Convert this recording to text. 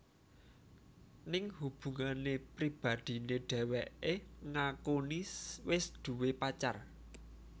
Ning hubungan pribadiné dheweké ngakuni wis duwé pacar